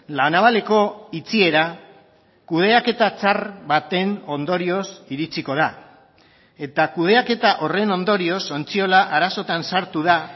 la navaleko itxiera kudeaketa txar baten ondorioz iritsiko da eta kudeaketa horren ondorioz ontziola arazotan sartu da